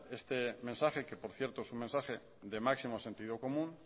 este mensaje que por cierto es un mensaje de máximo sentido común